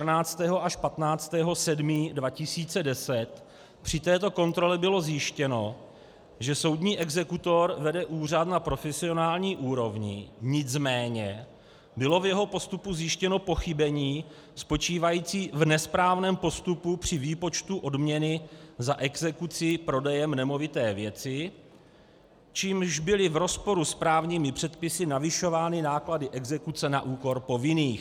Při této kontrole bylo zjištěno, že soudní exekutor vede úřad na profesionální úrovni, nicméně bylo v jeho postupu zjištěno pochybení spočívající v nesprávném postupu při výpočtu odměny za exekuci prodejem nemovité věci, čímž byly v rozporu s právními předpisy navyšovány náklady exekuce na úkor povinných.